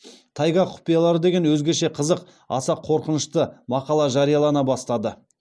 тайга құпиялары деген өзгеше қызық аса қорқынышты мақала жариялана бастады